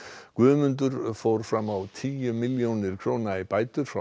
Guðmundur fór fram á tíu milljónir króna í bætur frá